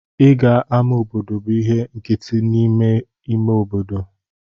Ịga ama obodo bụ ihe nkịtị n'ime ime obodo.